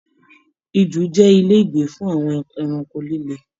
Ijù jẹ ilé ìgbé fún àwọn ẹranko lílé.